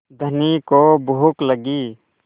धनी को भूख लगी